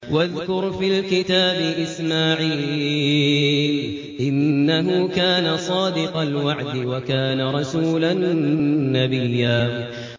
وَاذْكُرْ فِي الْكِتَابِ إِسْمَاعِيلَ ۚ إِنَّهُ كَانَ صَادِقَ الْوَعْدِ وَكَانَ رَسُولًا نَّبِيًّا